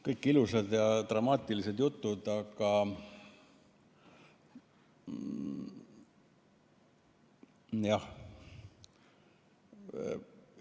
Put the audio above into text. Kõik ilusad ja dramaatilised jutud, aga jah ...